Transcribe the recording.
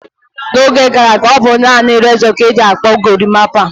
N'oge gara aga, ọ bụ naanị rezọ ka e ji akpụ gorimapa.